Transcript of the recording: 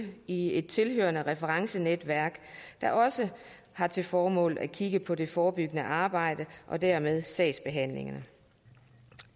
i et tilhørende referencenetværk der også har til formål at kigge på det forebyggende arbejde og dermed sagsbehandlingen